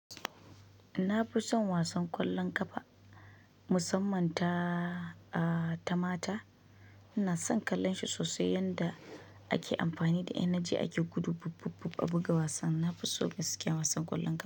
Na fi son wasan ƙwallon ƙafa, musamman ta, ah, ta mata. Ina son kallon shi sosai yanda ake amfani da energy ake gudu bub bub bub a buga wasan. Na fi so gaskiya wasan ƙwallon ƙafa.